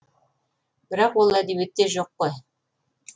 бірақ ол әдебиетте жоқ қой